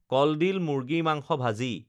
কলডিল মুৰ্গী মাংস ভাজি